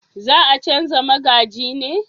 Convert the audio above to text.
za a canja magaji ne?